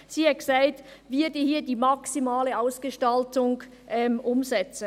Sie sagte, dass wir hier die «maximale Ausgestaltung» umsetzen.